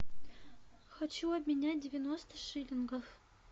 хочу обменять девяносто шиллингов